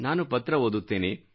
ನಾನು ಪತ್ರ ಓದುತ್ತೇನೆ